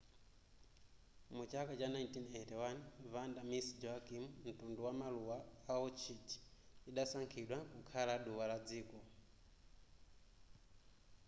mu chaka cha 1981 vanda miss joaquim mtundu wa maluwa a orchid lidasankhidwa kukhala duwa la dziko